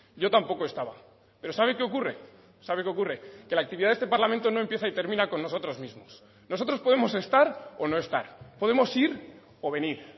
yo tampoco estaba pero sabe qué ocurre sabe qué ocurre que la actividad de este parlamento no empieza y termina con nosotros mismos nosotros podemos estar o no estar podemos ir o venir